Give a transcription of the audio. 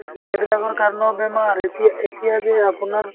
সেইবিলাকৰ কাৰণেও বেমাৰ এতিয়া এতিয়া যে আপোনাৰ